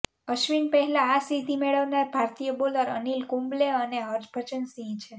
અશ્વિન પહેલા આ સિદ્ધિ મેળવનાર ભારતીય બોલર અનિલ કુંબલે અને હરભજન સિંહ છે